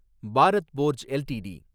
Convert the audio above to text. Bharat forge LTD